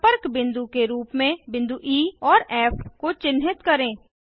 संपर्क बिंदु के रूप में बिंदु ई और फ़ को चिन्हित करें